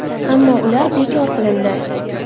Ammo ular bekor qilindi.